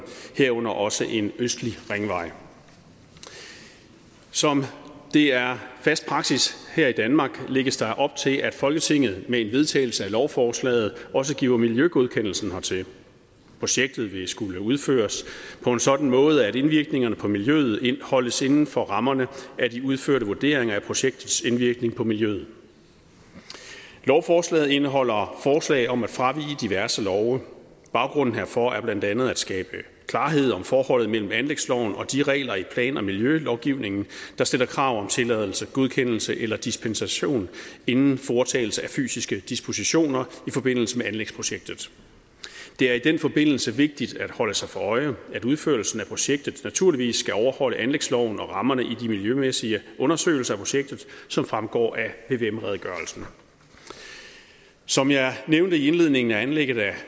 herunder også en østlig ringvej som det er fast praksis her i danmark lægges der op til at folketinget med en vedtagelse af lovforslaget også giver miljøgodkendelsen hertil projektet vil skulle udføres på en sådan måde at indvirkningerne på miljøet holdes inden for rammerne af de udførte vurderinger af projektets indvirkning på miljøet lovforslaget indeholder forslag om at fravige diverse love baggrunden herfor er blandt andet at skabe klarhed om forholdet mellem anlægsloven og de regler i plan og miljølovgivningen der stiller krav om tilladelse godkendelse eller dispensation inden foretagelse af fysiske dispositioner i forbindelse med anlægsprojektet det er i den forbindelse vigtigt at holde sig for øje at udførelsen af projektet naturligvis skal overholde anlægsloven og rammerne i de miljømæssige undersøgelser af projektet som fremgår af vvm redegørelsen som jeg nævnte i indledningen er anlægget af